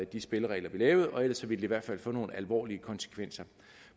de spilleregler vi lavede og ellers ville det i hvert fald få nogle alvorlige konsekvenser